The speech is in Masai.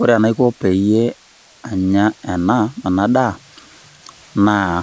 Ore enaiko peyie anya ena enadaa, naa